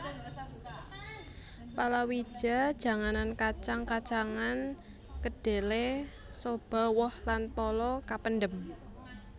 Palawija janganan kacang kacangan kedhelé soba woh lan pala kapendhem